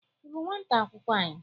Ị bụ nwata akwụkwọ anyị?